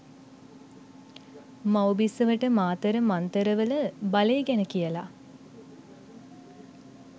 මව් බිසවට මාතර මංතරවල බලේ ගැන කියලා